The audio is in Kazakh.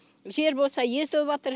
жер болса езіліватыр